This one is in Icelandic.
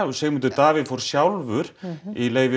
Sigmundur Davíð fór sjálfur í leyfi